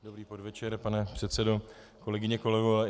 Dobrý podvečer, pane předsedo, kolegyně, kolegové.